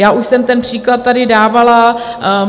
Já už jsem ten příklad tady dávala.